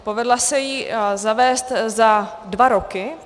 Povedla se jí zavést za dva roky.